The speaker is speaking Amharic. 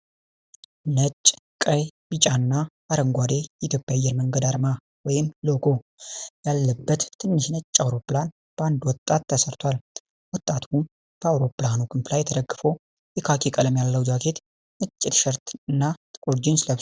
ነጭ፣ ቀይ፣ ቢጫ እና አረንጓዴ የኢትዮጵያ አየር መንገድ አርማ (ሎጎ) ያለበት ትንሽ ነጭ አውሮፕላን በአንድ ወጣት ተሰርቷል። ወጣቱ በአውሮፕላኑ ክንፍ ላይ ተደግፎ የካኪ ቀለም ያለው ጃኬት፣ ነጭ ቲሸርት እና ጥቁር ጂንስ ለብሧል፡፡